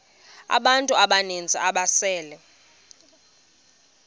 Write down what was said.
abantu abaninzi ababesele